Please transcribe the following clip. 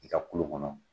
I ka kulo kɔnɔ